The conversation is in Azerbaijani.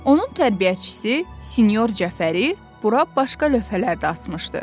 Onun tərbiyəçisi sinyor Cəfəri bura başqa lövhələr də asmışdı.